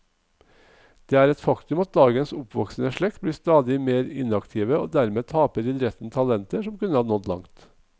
Det er et faktum at dagens oppvoksende slekt blir stadig mer inaktive og dermed taper idretten talenter som kunne nådd langt.